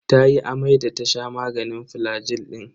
Tayi amai da ta sha maganin flagil din.